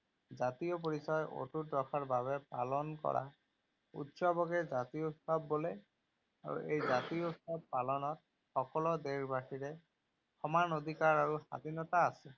জাতীয় পৰিচয় অটুত ৰখাৰ বাবে পালন কৰা উৎসৱকে জাতীয় উৎসৱ বোলে আৰু এই জাতীয় উৎসৱ পালনত সকলো দেশবাসীৰে সমান অধিকাৰ আৰু স্বাধীনতা আছে।